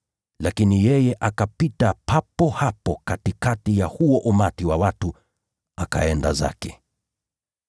Lakini yeye akapita papo hapo katikati ya huo umati wa watu akaenda zake.